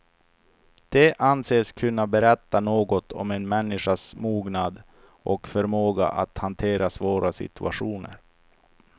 Det anses kunna berätta något om en människas mognad och förmåga att hantera svåra situationer.